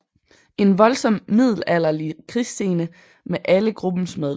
En voldsom middelalderlig krigsscene med alle gruppens medlemmer